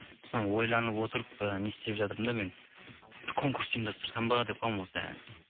соны ойланып отырып ы не істеп жатырмын да мен бір конкурс ұйымдастырсам ба деп қоямын осы